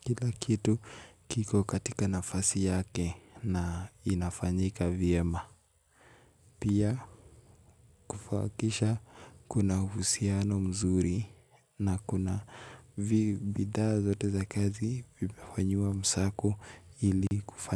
kila kitu kiko katika nafasi yake na inafanyika vyema. Pia kufakisha kuna uhusiano mzuri na kuna bidhaa zote za kazi vimefanyiwa msako ili kufanya.